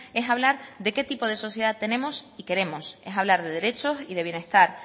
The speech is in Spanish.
es hablar de qué tipo de sociedad tenemos y queremos es hablar de derechos y de bienestar